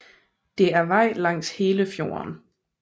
Det er vej langs hele fjorden